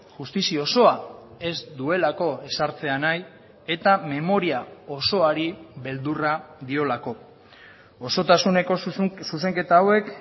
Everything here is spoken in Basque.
justizia osoa ez duelako ezartzea nahi eta memoria osoari beldurra diolako osotasuneko zuzenketa hauek